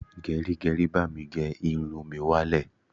Gẹrígẹrí, bá mi gé irun mi wá lẹ̀.